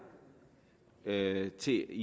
med til